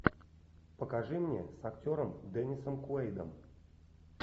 покажи мне с актером деннисом куэйдом